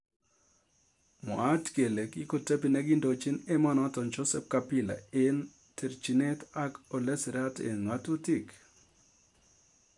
Mwaat kele kikotebi nekiindojin emonotok Joseph kabila eng terjinet ak olesirat eng ng'atutik